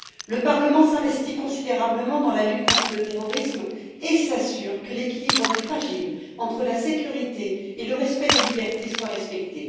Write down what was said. Le Parlement s'investit considérablement dans la lutte contre le terrorisme et s'assure que l'équilibre fragile entre la sécurité et le respect des libertés est respecté.